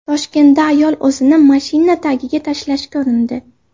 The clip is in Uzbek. Toshkentda ayol o‘zini mashina tagiga tashlashga urindi.